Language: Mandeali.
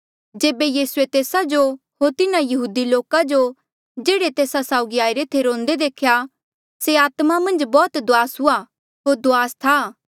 जेबे यीसूए तेस्सा जो होर तिन्हा यहूदी लोका जो जेह्ड़े तेस्सा साउगी आईरे थे रोंदे देखे से आत्मा मन्झ बौह्त दुआस हुआ होर दुआस था